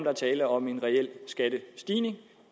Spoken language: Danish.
er tale om en reel skattestigning